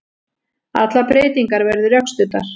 Allar breytingar verði rökstuddar